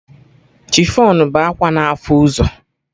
Chifọn bụ akwa na afụ ụzọ